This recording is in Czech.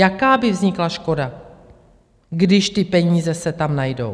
Jaká by vznikla škoda, když ty peníze se tam najdou?